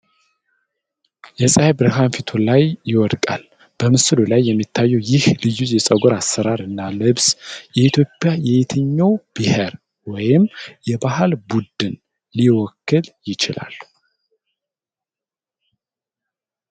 የፀሐይ ብርሃን ፊቱ ላይ ይወድቃል። በምስሉ ላይ የሚታየው ይህ ልዩ የፀጉር አሠራር እና ልብስ የኢትዮጵያ የትኛውን ብሔር ወይም የባህል ቡድን ሊወክል ይችላል?